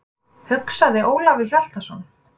hugsaði Ólafur Hjaltason.